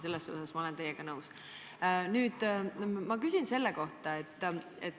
Selles osas olen ma teiega nõus.